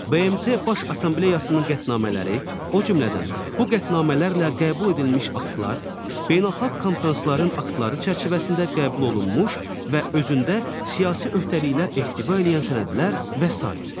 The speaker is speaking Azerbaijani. BMT Baş Assambleyasının qətnamələri, o cümlədən, bu qətnamələrlə qəbul edilmiş aktlar, beynəlxalq konfransların aktları çərçivəsində qəbul olunmuş və özündə siyasi öhdəliklər ehtiva eləyən sənədlər və sair.